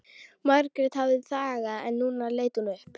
Margrét hafði þagað en nú leit hún upp.